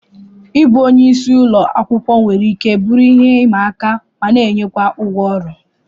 Ịbụ onye isi ụlọ akwụkwọ nwere ike bụrụ ihe ịma aka mana enyekwa ụgwọ ọrụ